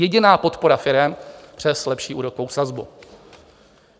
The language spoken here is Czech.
Jediná podpora firem přes lepší úrokovou sazbu.